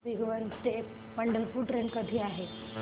भिगवण ते पंढरपूर ट्रेन कधी आहे